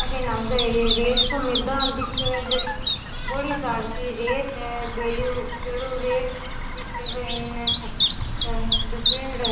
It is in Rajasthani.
अठीने आगे एक रेत को मैदान दिखे है बड़ी सार की रेत है बेलु बेलु रेत भी केवे इनने हेर पेड़ है।